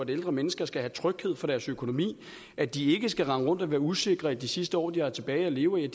ældre mennesker skal have tryghed for deres økonomi at de ikke skal rende rundt og være usikre i de sidste år de har tilbage at leve i